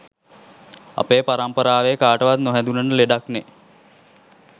අපේ පරම්පරාවේ කාටවත් නොහැදුනන ලෙඩක්නේ